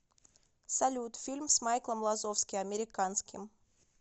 салют фильм с майклом лазовски американским